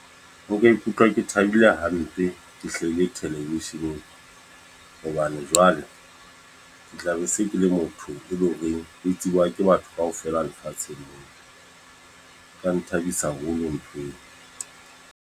Ho ka ikutlwa ke thabile hampe, ke hlahile thelevisheneng. Hobane jwale, ke tla be se ke le motho e leng horeng e tsebuwa ke batho kaofela lefatsheng. Ka nthabisa haholo mpeng.